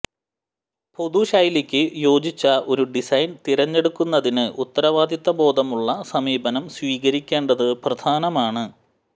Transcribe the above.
പൊതു ശൈലിക്ക് യോജിച്ച ഒരു ഡിസൈൻ തിരഞ്ഞെടുക്കുന്നതിന് ഉത്തരവാദിത്തബോധമുള്ള സമീപനം സ്വീകരിക്കേണ്ടത് പ്രധാനമാണ്